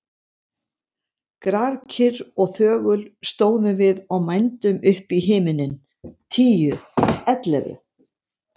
Grafkyrr og þögul stóðum við og mændum upp í himininn. tíu. ellefu.